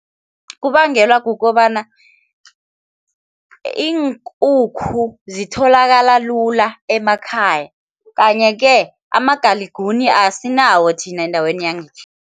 Kubangelwa kukobana iinkukhu zitholakala lula emakhaya. Kanye-ke amagaliguni asinawo thina endaweni yangekhethu.